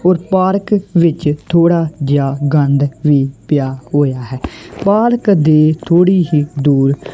Park ਵਿੱਚ ਥੋੜਾ ਜਿਹਾ ਗੰਦ ਵੀ ਪਿਆ ਹੋਇਆ ਹੈ ਪਾਰਕ ਦੇ ਥੋੜੀ ਹੀ ਦੂਰ।